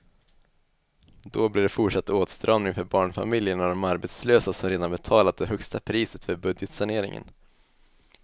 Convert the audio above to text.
Då blir det fortsatt åtstramning för barnfamiljerna och de arbetslösa som redan betalat det högsta priset för budgetsaneringen.